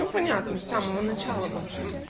понятно с самого начала блы